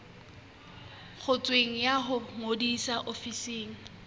ngotsweng ya ho ngodisa ofising